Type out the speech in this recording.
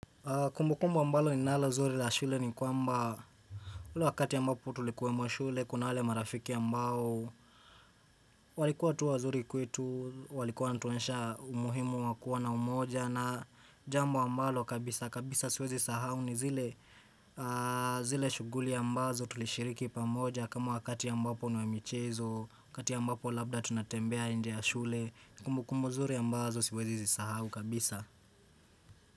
Kumbu kumbu ambalo ninalo nzuri la shule ni kwamba ule wakati ambapo tulikuwe mwa shule kuna hlwale marafiki ambao walikuwa tu wazuri kwetu walikuwa natuonyesha umuhimu wakuwa na umoja na jambo mbalo kabisa kabisa siwezi sahau ni zile zile shuguli ya mbazo tulishiriki pamoja kama wakati ambapo nwemichezo kati ambapo labda tunatembea india shule kumbu kumbu zuri ambazo siwezi sahau kabisa.